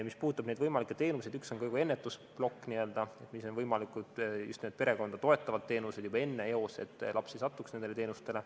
Mis puudutab neid võimalikke teenuseid, siis üks on ka ennetusplokk, perekonda toetavad teenused juba enne, eos, et laps ei satuks nendele teenustele.